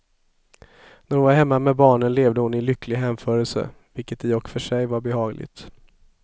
När hon var hemma med barnen levde hon i lycklig hänförelse, vilket i och för sig var behagligt.